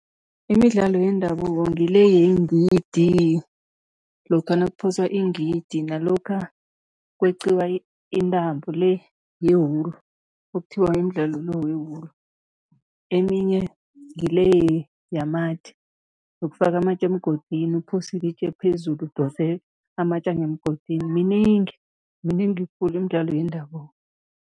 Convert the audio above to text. Imidlalo yendabuko ngile yengidi, lokha nakuphoswa ingidi nalokha kweqiwa intambo le ye-wool, okuthiwa yimdlalo lo we-wool. Eminye ngile yamatje, yokufaka amatje emgodini, uphose ilitje phezulu udose amatje angemgodini, miningi, miningi khulu imidlalo yendabuko.